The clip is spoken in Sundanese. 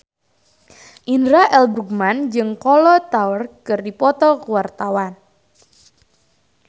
Indra L. Bruggman jeung Kolo Taure keur dipoto ku wartawan